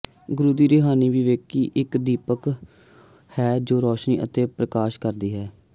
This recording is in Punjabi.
ਗੁਰੂ ਦੀ ਰੂਹਾਨੀ ਵਿਵੇਕੀ ਇਕ ਦੀਪਕ ਹੈ ਜੋ ਰੋਸ਼ਨੀ ਅਤੇ ਪ੍ਰਕਾਸ਼ਤ ਕਰਦੀ ਹੈ